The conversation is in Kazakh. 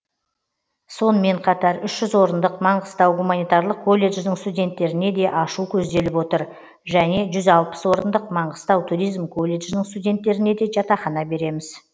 сонымен қатар үш жүз орындық маңғыстау гуманитарлық колледжінің студенттеріне де ашу көзделіп отыр және жүз алпыс орындық маңғыстау туризм колледжінің студенттеріне де жатақхана береміз